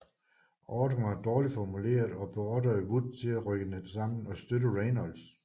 Ordren var dårligt formuleret og beordrede Wood til at rykke sammen og støtte Raynolds